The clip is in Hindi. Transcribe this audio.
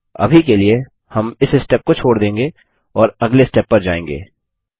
अभी के लिए हम इस स्टेप को छोड़ देगें और अगले स्टेप पर जायेंगे